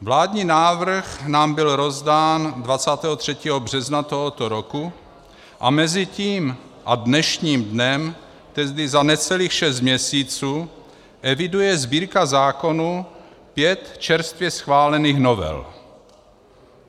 Vládní návrh nám byl rozdán 23. března tohoto roku a mezi tím a dnešním dnem, tedy za necelých šest měsíců, eviduje Sbírka zákonů pět čerstvě schválených novel.